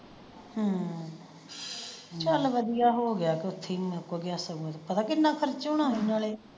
ਹਮ ਚਲ ਵਧੀਆ ਹੋ ਗਿਆ ਕੇ ਓਥੇ ਹੀ ਮੁੱਕ ਗਿਆ ਸਗੋਂ ਪਤਾ ਕਿੰਨਾ ਖਰਚਾ ਹੋਣਾ ਸੀ ਨਾਲੇ।